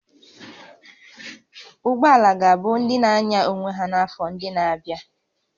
Ụgbọ ala ga-abụ ndị na-anya onwe ha n'afọ ndị na-abịa